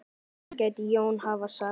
Þetta gæti Jón hafa sagt.